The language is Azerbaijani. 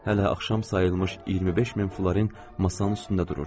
Hələ axşam sayılmış 25 min florin masanın üstündə dururdu.